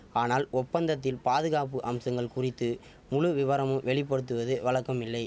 ஆனால் ஒப்பந்தத்தில் பாதுகாப்பு அம்சங்கள் குறித்து முழு விவரமும் வெளி படுத்துவது வழக்கமில்லை